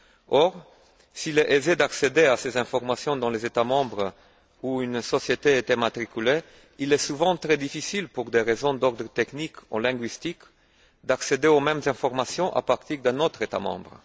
Or, s'il est aisé d'accéder à ces informations dans les États membres où une société est immatriculée, il est souvent très difficile, pour des raisons d'ordre technique ou linguistique, d'accéder aux mêmes informations à partir d'un autre État membre.